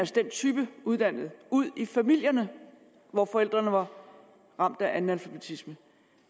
den type af uddannede ud i familierne hvor forældrene var ramt af analfabetisme